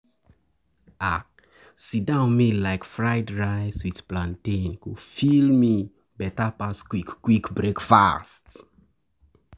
If I no get time, I go chop akara on-the-go instead of on-the-go instead of sit-down meal.